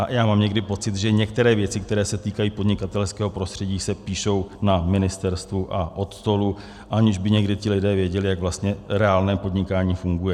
A já mám někdy pocit, že některé věci, které se týkají podnikatelského prostředí, se píšou na ministerstvu a od stolu, aniž by někdy ti lidé věděli, jak vlastně reálné podnikání funguje.